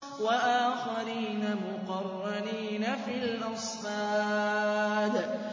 وَآخَرِينَ مُقَرَّنِينَ فِي الْأَصْفَادِ